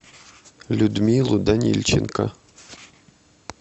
людмилу данильченко